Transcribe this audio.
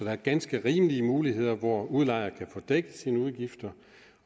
er ganske rimelige muligheder for at udlejer kan få dækket sine udgifter